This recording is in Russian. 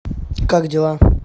как дела